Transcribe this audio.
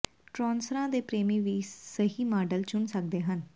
ਟਰੌਸਰਾਂ ਦੇ ਪ੍ਰੇਮੀ ਵੀ ਸਹੀ ਮਾਡਲ ਚੁਣ ਸਕਦੇ ਹਨ